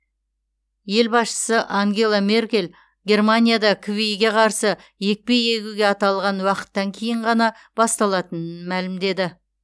ел басшысы ангела меркель германияда кви ге қарсы екпе егуге аталған уақыттан кейін ғана басталатынын мәлімдеді